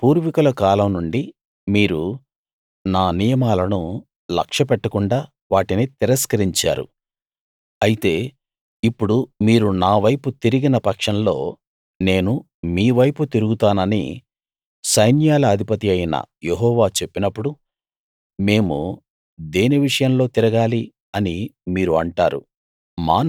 మీ పూర్వీకుల కాలం నుండి మీరు నా నియమాలను లక్ష్యపెట్టకుండా వాటిని తిరస్కరించారు అయితే ఇప్పుడు మీరు నావైపు తిరిగిన పక్షంలో నేను మీవైపు తిరుగుతానని సైన్యాల అధిపతియైన యెహోవా చెప్పినప్పుడు మేము దేని విషయంలో తిరగాలి అని మీరు అంటారు